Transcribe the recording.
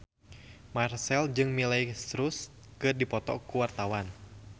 Marchell jeung Miley Cyrus keur dipoto ku wartawan